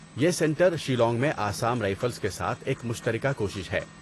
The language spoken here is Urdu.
یہ سنٹر شیلانگ میں آسام رائفلز کے ساتھ ایک مشترکہ کوشش ہے۔